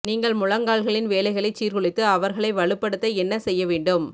நீங்கள் முழங்கால்களின் வேலைகளைச் சீர்குலைத்து அவர்களை வலுப்படுத்த என்ன செய்ய வேண்டும்